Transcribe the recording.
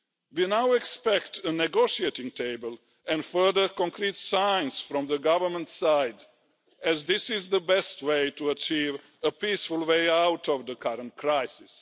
We now expect a negotiating table and further concrete signs from the government side, as this is the best way to achieve a peaceful way out of the current crisis.